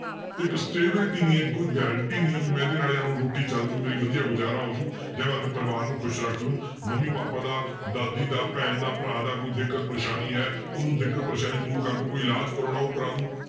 ਇੱਕ stability ਨੀ ਹੈ ਕੋਈ guarantee ਨੀ ਹੈ ਵੀ ਮੈਂ ਇਹਦੇ ਨਾਲ ਰੋਟੀ ਚੱਲ ਜਾਊ, ਮੇਰੀ ਵਧੀਆ ਗੁਜ਼ਾਰਾ ਹੋ ਜਾਊ ਜਾਂ ਮੈਂ ਆਪਦੇ ਪਰਿਵਾਰ ਨੂੰ ਖ਼ੁਸ਼ ਰੱਖ ਲਊ ਮੰਮੀ ਪਾਪਾ ਦਾ ਦਾਦੀ ਦਾ ਭੈਣ ਦਾ ਭਰਾ ਦਾ ਕੋਈ ਦਿੱਕਤ ਪਰੇਸਾਨੀ ਹੈ ਉਹਨੂੰ ਦਿੱਕਤ ਪਰੇਸਾਨੀ ਦੂਰ ਕਰ ਦਊ ਕੋਈ ਇਲਾਜ਼ ਕਰਵਾਉਣਾ ਉਹ ਕਰਵਾ ਦੇਊ